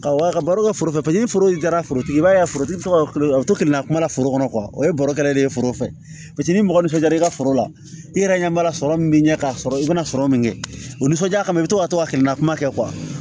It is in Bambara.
Ka baro kɛ foro ni foro taara forotigi i b'a ye forotigi fɛ o bɛ to k'i na kuma la foro kɔnɔ o ye baro kɛrɛ de ye foro fɛ ni mɔgɔ min fɛn kɛra i ka foro la i yɛrɛ ɲɛ b'a la sɔrɔ min bɛ ɲɛ ka sɔrɔ i bɛna sɔrɔ min kɛ o nisɔndiya kama i bɛ to ka to ka tilela kuma kɛ